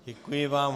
Děkuji vám.